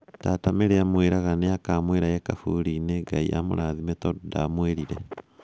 Tata Mary amwĩraga nĩakamwĩra e kaburi-inĩ, Ngai amũrathime tondũ ndamwĩrire.